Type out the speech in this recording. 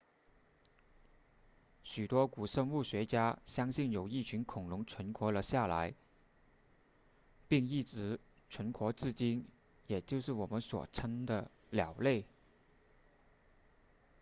许多古生物学家相信有一群恐龙存活了下来并一直存活至今也就是我们所称的鸟类